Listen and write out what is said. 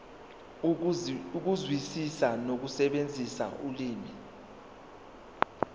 ukuzwisisa nokusebenzisa ulimi